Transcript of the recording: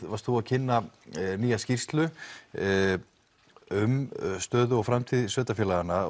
varst þú að kynna nýja skýrslu um stöðu og framtíð sveitarfélaganna